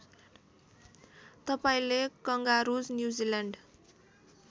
तपाईँले kangaroos New Zealand